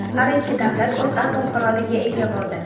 Har ikki davlat o‘z atom quroliga ega bo‘ldi.